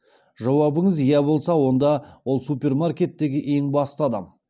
жауабыңыз иә болса онда ол супермаркеттегі ең басты адам